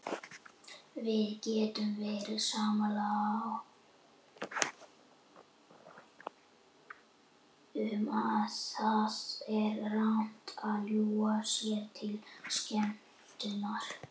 Við getum verið sammála um að það er rangt að ljúga sér til skemmtunar.